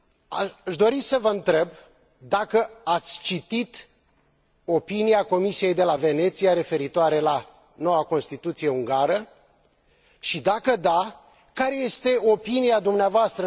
Aș dori să vă întreb dacă ați citit opinia Comisiei de la Veneția referitoare la noua Constituție ungară, și, dacă da, care este opinia dvs.